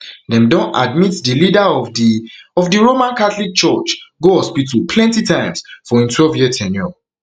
dem don admit di leader of di of di roman catholic church go hospital plenti times for im twelve year ten ure